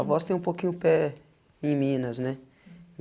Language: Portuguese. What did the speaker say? A voz tem um pouquinho pé em minas, né?